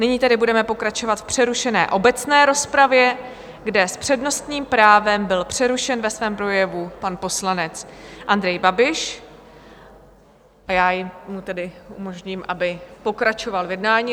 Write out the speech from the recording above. Nyní tedy budeme pokračovat v přerušené obecné rozpravě, kde s přednostním právem byl přerušen ve svém projevu pan poslanec Andrej Babiš, a já mu tedy umožním, aby pokračoval v jednání.